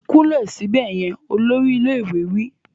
Kúnlẹ̀ síbẹ̀ yẹn! Olórí ilé ìwé wí.